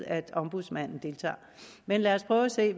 at ombudsmanden deltager men lad os prøve at se